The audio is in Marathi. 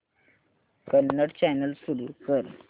कन्नड चॅनल सुरू कर